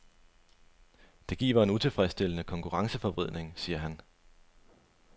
Det giver en utilfredsstillende konkurrenceforvridning, siger han.